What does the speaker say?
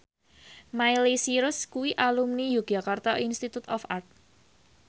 Miley Cyrus kuwi alumni Yogyakarta Institute of Art